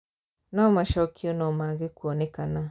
No macokio no mage kuonekana